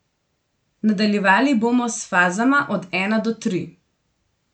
Nadaljevali bomo s fazama od ena do tri.